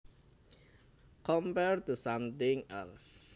Compared to something else